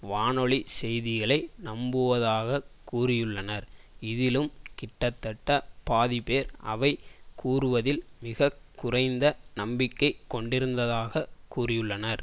வானொலி செய்திகளை நம்புவதாக கூறியுள்ளனர் இதிலும் கிட்டத்தட்ட பாதிப்பேர் அவை கூறுவதில் மிக குறைந்த நம்பிக்கை கொண்டிருந்ததாகக் கூறியுள்ளனர்